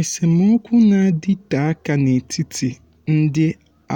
esemokwu na-adịte aka n'etiti ndị